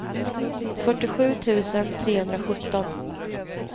fyrtiosju tusen trehundrasjutton